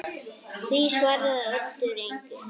Því svaraði Oddur engu.